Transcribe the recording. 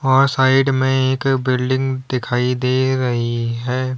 और साइड में एक बिल्डिंग दिखाई दे रही है।